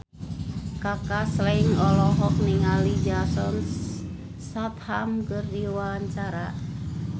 Kaka Slank olohok ningali Jason Statham keur diwawancara